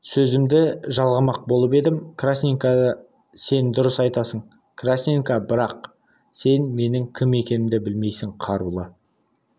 сөзімді жалғамақ болып едім красненко сен дұрыс айтасың красненко бірақ сен менің кім екенімді білмейсің қарулы